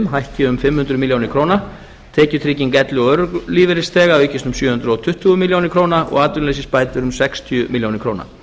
hækki um fimm hundruð milljóna króna tekjutrygging elli og örorkulífeyrisþega aukist um sjö hundruð tuttugu milljónir króna og atvinnuleysisbætur um sextíu milljónir króna